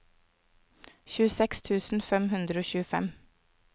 tjueseks tusen fem hundre og tjuefem